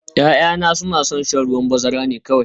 Ya'yana suna son shan ruwan bazara ne kawai